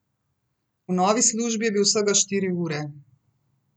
V novi službi je bil vsega štiri ure.